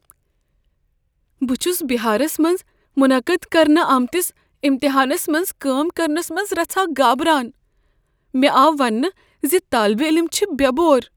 بہٕ چھس بہارس منٛز منعقد کرنہٕ آمتس امتحانس منز کٲم کرنس منٛز رژھاہ گابران۔ مےٚ آو ونٛنہٕ ز طٲلب علم چھِ بے بوَر۔